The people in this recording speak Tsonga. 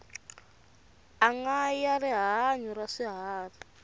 anga ya rihanyu ra swiharhi